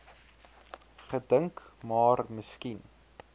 gedink maar miskien